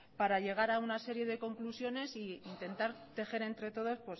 para llegar a una serie de conclusiones e intentar tejer entre todos